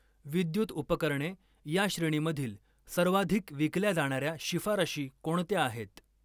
विद्युत उपकरणे या श्रेणीमधील सर्वाधिक विकल्या जाणाऱ्या शिफारशी कोणत्या आहेत?